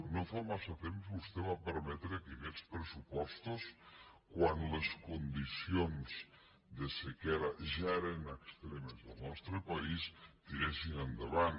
no fa massa temps vostè va permetre que aquests pressupostos quan les condicions de sequera ja eren extremes al nostre país tiressin endavant